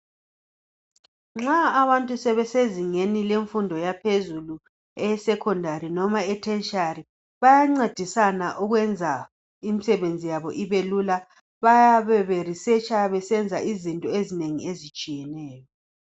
Nxa abantu sebesezingeni lemfundo yaphezulu eye secondary noma e tertiary bayancedisana ukwenza imisebenzi yabo ibelula, bayabe be researcher besenza inzinto ezinengi ezitshiyeneyo.